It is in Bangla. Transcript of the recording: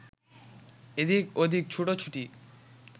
এদিক ওদিক ছুটো-ছুটি